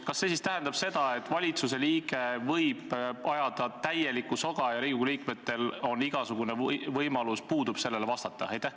Kas see siis tähendab, et valitsuse liige võib ajada täielikku soga ja Riigikogu liikmetel puudub igasugune võimalus sellele vastata?